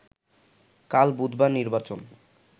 কাল বুধবার নির্বাচন